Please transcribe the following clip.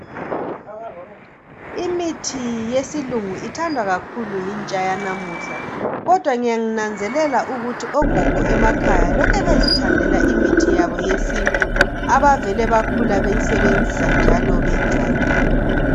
Imithi yesilungu ithandwa kakhulu yintsha yanamuhla kodwa ngiyananzelala ukuthi ogogo emakhaya lokhu bezithandela imithi yabo yesintu abavele bakhula beyisebenzisela njalo beyijwayele